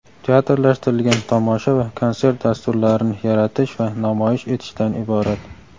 teatrlashtirilgan tomosha va konsert dasturlarini yaratish va namoyish etishdan iborat.